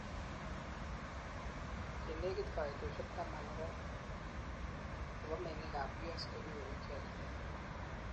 chenegit kaitoshiek taman ak oeng chebo menging ab U.S konyoru icheget